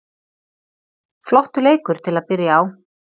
Flottur leikur til að byrja á.